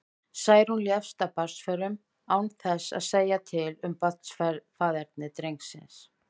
Særún lést af barnsförum, án þess að segja til um faðerni drengsins.